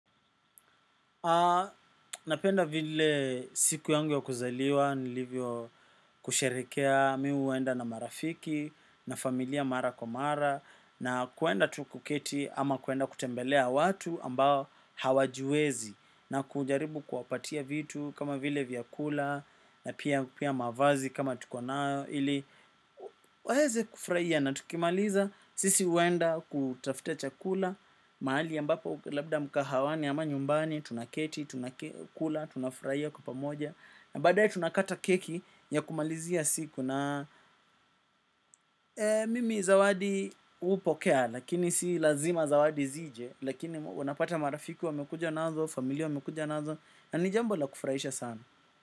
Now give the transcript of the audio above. Napenda vile siku yangu ya kuzaliwa nilivyo kusherehekea mi huwenda na marafiki na familia mara kwa mara na kuenda tu kuketi ama kuenda kutembelea watu ambao hawajiwezi na kujaribu kuwapatia vitu kama vile vyakula na pia pia mavazi kama tuko nayo ili waeze kufuraia na tukimaliza, sisi huenda kutafuta cha kula, mahali ambapo labda mkahawani ama nyumbani, tunaketi, tunakula, tunafuraia kwa pamoja, na baadae tunakata keki ya kumalizia siku na mimi zawadi hupokea, lakini si lazima zawadi zije, lakini unapata marafiki wamekuja nazo, familia wamekuja nazo, na nijambo la kufuraisha sana.